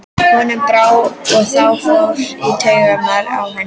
Honum brá, og það fór í taugarnar á henni.